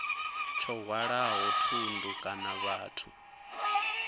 tsho hwalaho thundu kana vhathu